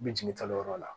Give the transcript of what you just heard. N bɛ jigin kalo yɔrɔ la